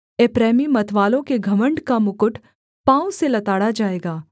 एप्रैमी मतवालों के घमण्ड का मुकुट पाँव से लताड़ा जाएगा